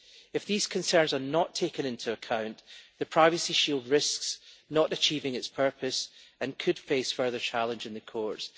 If these concerns are not taken into account, the Privacy Shield risks not achieving its purpose and could face further challenge in the courts.